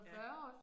Ja